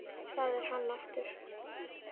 Það er hann aftur!